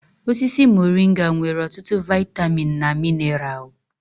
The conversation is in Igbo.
Osisi moringa nwere ọtụtụ vaịtamịn na mineral.